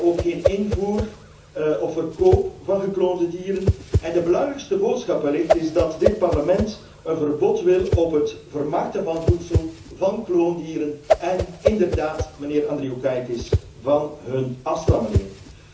Wij willen ook geen invoer of verkoop van gekloonde dieren en de belangrijkste boodschap is wellicht dat dit Parlement een verbod wil op het vermarkten van voedsel van kloondieren en inderdaad, mijnheer Andriukaitis, van hun afstammelingen.